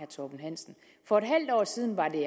torben hansen for et halvt år siden var det